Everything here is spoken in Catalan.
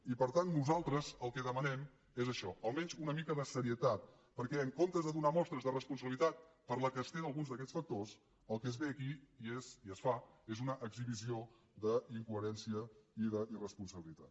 i per tant nosaltres el que demanem és això almenys una mica de serietat perquè en comptes de donar mostres de responsabilitat que es té per alguns d’aquests factors el que es ve aquí és i es fa és una exhibició d’incoherència i d’irresponsabilitat